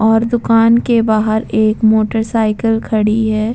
और दुकान के बाहर एक मोटर साइकिल खड़ी है।